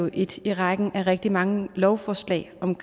ét i rækken af rigtig mange lovforslag om